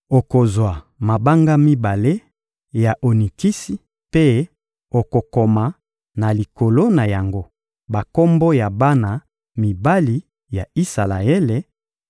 Okozwa mabanga mibale ya onikisi mpe okokoma na likolo na yango bakombo ya bana mibali ya Isalaele